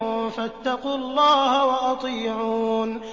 فَاتَّقُوا اللَّهَ وَأَطِيعُونِ